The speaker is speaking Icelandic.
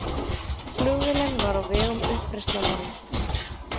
Flugvélin var á vegum uppreisnarmanna